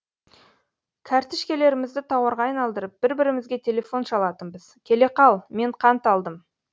кәртішкелерімізді тауарға айналдырып бір бірімізге телефон шалатынбыз келе қал мен қант алдым